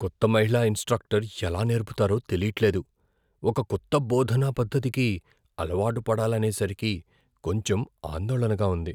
కొత్త మహిళా ఇన్స్ట్రక్టర్ ఎలా నేర్పుతారో తెలీట్లేదు. ఒక కొత్త బోధనా పద్ధతికి అలవాటు పడాలనేసరికి కొంచెం ఆందోళనగా ఉంది.